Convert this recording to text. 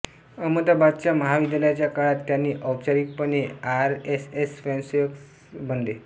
अहमदाबादच्या महाविद्यालयाच्या काळात त्यांनी औपचारिकपणे आरएसएस स्वयंसेवक स्वयंसेवक बनले